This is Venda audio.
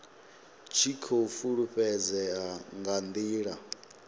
tshi khou fhulufhedzea nga ndila